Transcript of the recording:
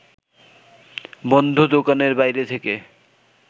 বন্ধ দোকানের বাইরে থেকে